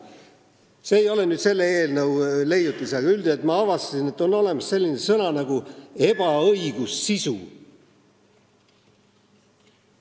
See ei ole selle eelnõu leiutis, aga ma avastasin, et on olemas selline sõna nagu "ebaõigussisu".